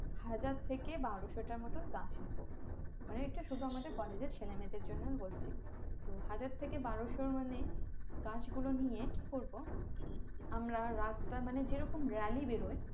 হাজার থেকে বারোসোটা মতো গাছ নেবো মানে এটা শুধু আমাদের college এর ছেলে মেয়েদের জন্য বলছি তো হাজার থেকে বারোসো মানে গাছ গুলো নিয়ে কি করবো আমরা রাস্তা মানে যে রোকম really বেরোয়